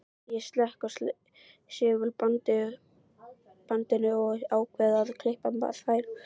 Ég slekk á segulbandinu og ákveð að klippa þær.